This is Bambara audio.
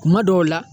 Kuma dɔw la